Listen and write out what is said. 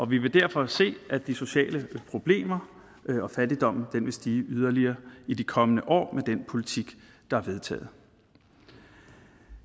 vi vil derfor se at de sociale problemer og fattigdommen vil stige yderligere i de kommende år med den politik der er vedtaget